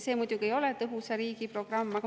See muidugi ei ole "Tõhusa riigi" programm.